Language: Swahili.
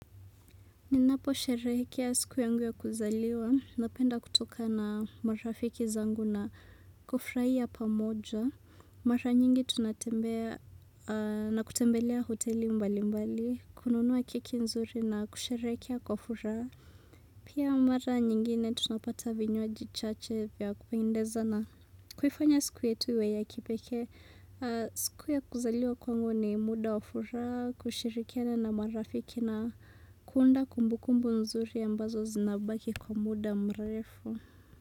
Ninapo sherehekea siku yangu ya kuzaliwa. Napenda kutoka na marafiki zangu na kufurahia pamoja. Mara nyingi tunatembea na kutembelea hoteli mbali mbali. Kununuwa keki nzuri na kusherehekea kwa furaha. Pia mara nyingine tunapata vinywaji chache vya kuendeza na kuifanya siku yetu iwe ya kipekee. Siku ya kuzaliwa kwangu ni muda wafuraha kushirikiana na marafiki na kuunda kumbu kumbu mzuri ambazo zinabaki kwa muda mrefu.